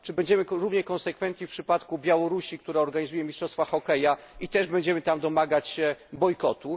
Czy będziemy równie konsekwentni w przypadku Białorusi, która organizuje mistrzostwa hokeja, i też będziemy tam domagać się bojkotu?